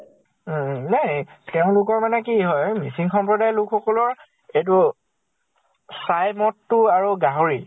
উম উম । নাই । তেওঁলোকৰ মানে কি হয়, মিচিং সম্প্ৰদায় লোক সকলৰ এইটো চাই মদ তো আৰু গাহৰি